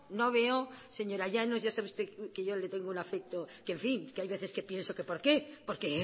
no veo señora llanos ya sabe usted que yo le tengo un afecto que hay veces que pienso que por qué porque